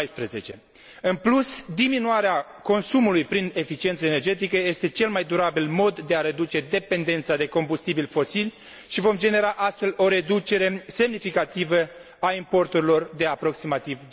2014. În plus, diminuarea consumului prin eficiență energetică este cel mai durabil mod de a reduce dependența de combustibilii fosili și vom genera, astfel, o reducere semnificativă a importurilor, cu aproximativ